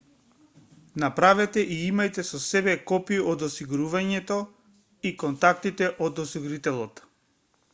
направете и имајте со себе копии од осигурувањето и контактите од осигурителот